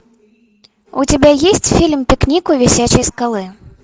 у тебя есть фильм пикник у висячей скалы